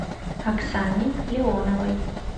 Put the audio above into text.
оксане леоновой